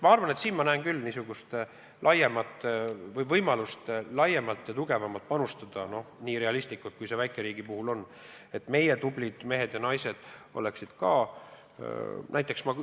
Nii et ma näen küll võimalust laiemalt ja tugevamalt panustada, nii realistlik, kui see väikeriigi puhul on, et meie tublid mehed ja naised oleksid ka kõrgetes ametites.